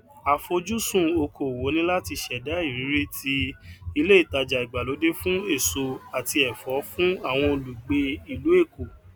àfojúsùn oko òwò ni láti ṣẹdá ìrírí ti ilé ìtaja ìgbàlódé fún èso àti ẹfọ fún àwọn olùgbé ìlú èkó